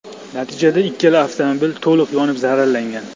Natijada ikkala avtomobil to‘liq yonib zararlangan.